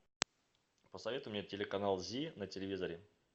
посоветуй мне телеканал зи на телевизоре